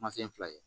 Kuma fɛn fila ye